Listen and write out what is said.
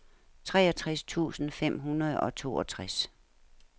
treogtres tusind fem hundrede og toogtres